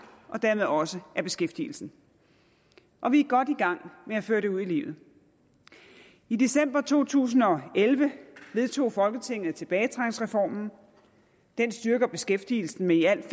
og dermed også i beskæftigelsen og vi er godt i gang med at føre det ud i livet i december to tusind og elleve vedtog folketinget tilbagetrækningsreformen den styrker beskæftigelsen med i alt